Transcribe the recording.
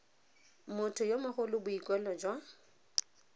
motho yo mogolo boikuelo jwa